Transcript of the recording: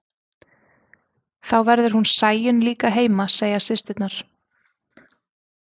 Þá verður hún Sæunn líka heima, segja systurnar.